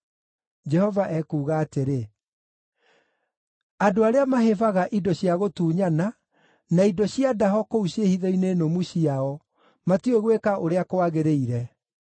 Jehova ekuuga atĩrĩ: “Andũ arĩa mahĩbaga indo cia gũtunyana na indo cia ndaho kũu ciĩhitho-inĩ nũmu ciao, matiũĩ gwĩka ũrĩa kwagĩrĩire.”